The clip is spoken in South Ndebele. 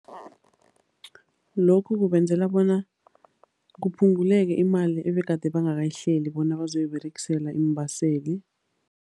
Lokhu kubenzela bona kuphunguleke imali ebegade bangakayihleli bona bazoyiberegisela iimbaseli.